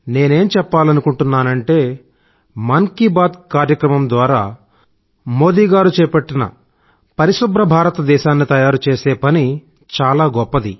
నేనేం చెప్పాలనుకుంటున్నానంటే మన్ కీ బాత్ కార్యక్రమం ద్వారా మోదీ గారు చేపట్టిన పరిశుభ్ర భారతదేశాన్ని తయారుచేసే పని చాలా గొప్పది